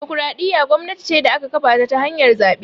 Dimokuraɗiyya gwamnati ce da aka kafata ta hanyar zaɓe